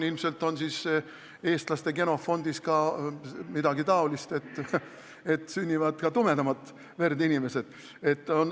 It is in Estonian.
Ilmselt on siis eestlaste genofondis midagi sellist, et sünnivad ka tumedamat verd inimesed.